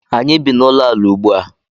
Anyị bi n’ụlọala ugbu a